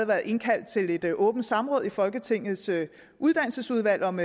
været indkaldt til et åbent samråd i folketingets uddannelsesudvalg om